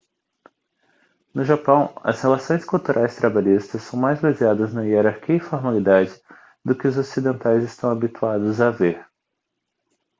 no japão as relações culturais trabalhistas são mais baseadas na hierarquia e formalidade do que os ocidentais estão habituados a ver